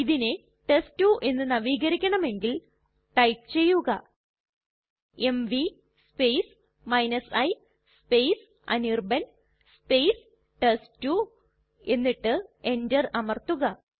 ഇതിനെ ടെസ്റ്റ്2 എന്ന് നവീകരിക്കണമെങ്കിൽ ടൈപ്പ് ചെയ്യുക എംവി i അനിർബാൻ ടെസ്റ്റ്2 എന്നിട്ട് Enter അമർത്തുക